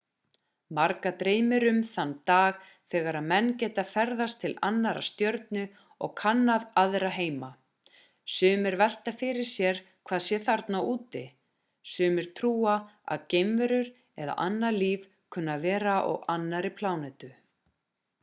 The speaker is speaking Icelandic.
marga dreymir um þann dag þegar menn geta ferðast til annarrar stjörnu og kannað aðra heima sumir velta fyrir sér hvað sé þarna úti sumir trúa að geimverur eða annað líf kunni að vera á annarri plánetu